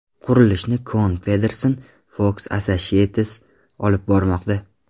Qurilishni Kohn Pedersen Fox Associates olib bormoqda.